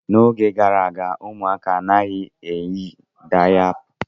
N'oge gara aga, ụmụaka anaghị eyi dayapa.